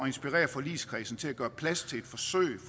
inspirere forligskredsen til at gøre plads til et forsøg